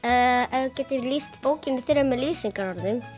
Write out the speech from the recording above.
ef þú getur lýst bókinni í þremur lýsingarorðum